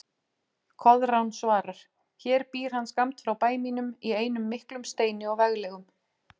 Koðrán svarar: Hér býr hann skammt frá bæ mínum í einum miklum steini og veglegum